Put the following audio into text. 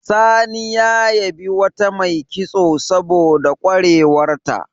Sani ya yabi wata mai kitso saboda ƙwarewarta.